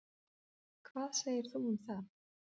Hvað segir þú um það?